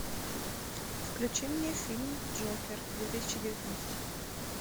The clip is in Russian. включи мне фильм джокер две тысячи девятнадцать